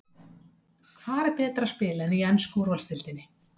Hvar er betra að spila en í ensku úrvalsdeildinni?